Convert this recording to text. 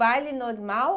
Baile normal.